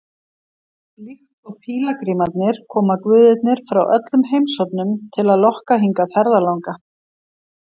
Líkt og pílagrímarnir koma guðirnir frá öllum heimshornum til að lokka hingað ferðalanga.